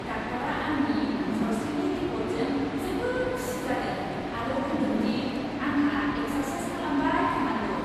डाक्टारा आंनि सावस्रिनि रिप'र्टजों जोबोद खुसि जादों आरो बुंदों दि आंहा एक्सारसाइस खालामबाय थानांगौ।